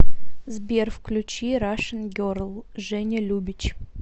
сбер включи рашн герл женя любич